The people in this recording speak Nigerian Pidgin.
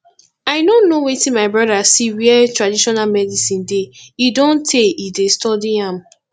i no know wetin my brother see where traditional medicine dey e don tey he dey study am